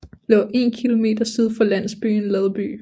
Lå 1 km syd for landsbyen Ladby